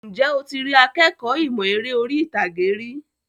Ǹjẹ́ o ti rí akékọ̀ọ́ ìmọ̀ eré orí ìtàgé rí?